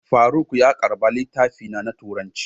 Faruk ya karba littafina na turanci.